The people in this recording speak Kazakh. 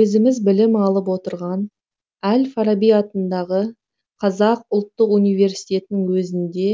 өзіміз білім алып отырған әл фараби атындағы қазақ ұлттық универстетінің өзінде